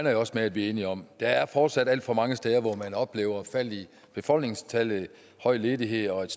jeg også med vi er enige om der er fortsat alt for mange steder hvor man oplever faldende befolkningstal høj ledighed og